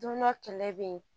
Don dɔ kɛlɛ bɛ yen